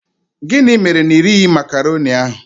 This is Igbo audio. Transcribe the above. Gịnị mere na irighi macroni ahụ?